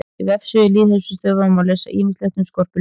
Á vefsíðu Lýðheilsustöðvar má lesa ýmislegt um skorpulifur.